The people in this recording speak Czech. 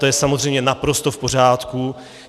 To je samozřejmě naprosto v pořádku.